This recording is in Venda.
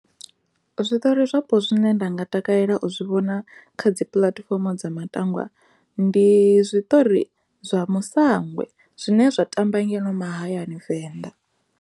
Zwiṱori zwapo zwine nda nga takalela u zwi vhona kha dzipuḽatifomo dza matangwa ndi zwiṱori zwa musangwe zwine zwa tamba ngeno mahayani venḓa.